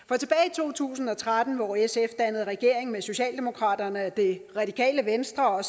to tusind og tretten hvor sf dannede regering med socialdemokraterne og det radikale venstre og